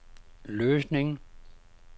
Løsning